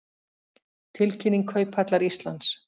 Tilkynning Kauphallar Íslands